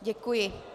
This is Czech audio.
Děkuji.